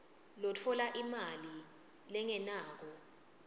lotfola imali lengenako